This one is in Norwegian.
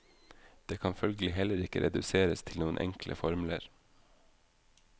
Det kan følgelig heller ikke reduseres til noen enkle formler.